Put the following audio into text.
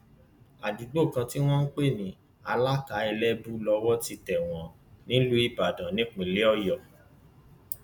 àdúgbò kan tí wọn ń pè ní alaka elébù lọwọ ti tẹ wọn nílùú ìbàdàn ìpínlẹ ọyọ